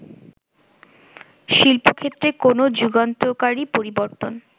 শিল্পক্ষেত্রে কোন যুগান্তকারী পরিবর্তন